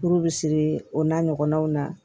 Furu bi siri o n'a ɲɔgɔnnaw na